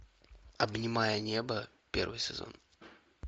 обнимая небо первый сезон